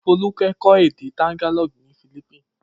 Folúkẹ́ kọ́ èdè Tagalog ní Philippines.